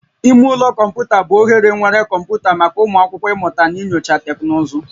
Ime ụlọ kọmputa bụ ohere nwere kọmputa maka ụmụ akwụkwọ ịmụta na inyocha teknụzụ